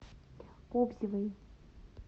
кобзевой